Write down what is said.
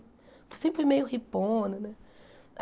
Eu sempre fui meio hippona, né?